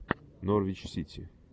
норвич сити